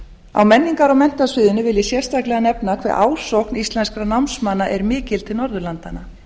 á menningar og menntasviðinu vil ég sérstaklega nefna hve ásókn íslenskra námsmanna er mikil til norðurlandanna